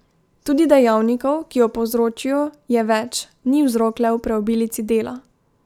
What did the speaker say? Tudi dejavnikov, ki jo povzročijo, je več, ni vzrok le v preobilici dela.